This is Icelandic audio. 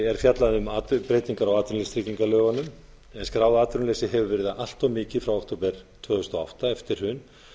er fjallað um breytingar á atvinnuleysistryggingalögunum en skráð atvinnuleysi hefur verið allt mikið frá október tvö þúsund og átta eftir hrun